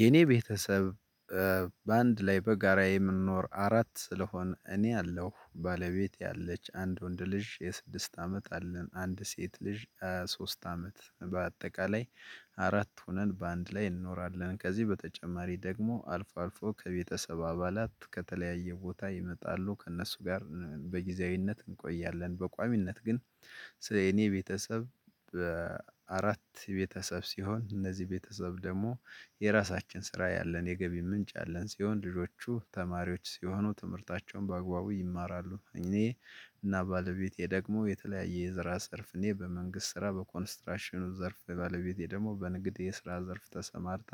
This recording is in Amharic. የኔ ቤተሰብ በአንድ ላይ በጋራ የምንኖር አራት ስለሆን እኔ አለሁ ባለቤቴ አለች አንድ ወንድ ልጅ የስድስት አመት አለን አንድ ሴት ልጅ ሶስት አመት በአጠቃላይ አራት ሆነን በአንድ ላይ እንኖራለን። ከዚህ በተጨማሪ ደግሞ አልፎ አልፎ ከቤተሰብ አባላት ከተለያየ ቦታ ይመጣሉ ከእነሱ ጋር በጊዜያዊነት እንቆያለን። በቋሚነት ግን ስለ እኔ ቤተሰብ። አራት ቤተሰብ ሲሆን እነዚህ ቤተሰብ ደግሞ የራሳችን ስራ ያለን የገቢ ምንጭ ያለን ሲሆን ልጆቹ ተማሪዎች ሲሆኑ ትምህርታቸውን በአግባቡ ይማራሉ። እኔ እና ባለቤቴ ደግሞ የተለያየ የስራ ዘርፍ እኔ በመንግስት ስራ በኮንስትራሽኑ ዘርፍ ባለቤቴ ደግሞ በንግድ የስራ ዘርፍ ተሰማርታ።